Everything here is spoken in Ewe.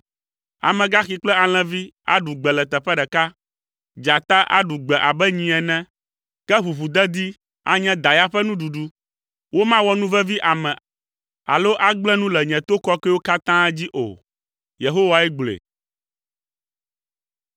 Amegaxi kple alẽvi aɖu gbe le teƒe ɖeka. Dzata aɖu gbe abe nyi ene, ke ʋuʋudedi anye da ya ƒe nuɖuɖu. Womawɔ nu vevi ame alo agblẽ nu le nye to kɔkɔewo katã dzi o.” Yehowae gblɔe.